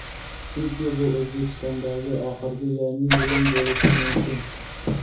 chunki bu O‘zbekistondagi oxirgi yangi yilim bo‘lishi mumkin.